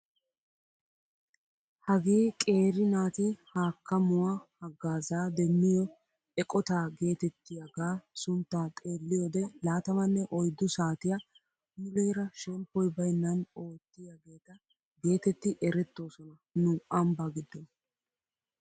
Hagee qeri naati hakkamuwaa hagaazaa demmiyoo eqotaa getettiyaaaga sunttaa xeelliyoode laatamanne oyddu saatiyaa muleera shemppoy baynnan oottiyaageta getetti erettoosona nu ambbaa giddon.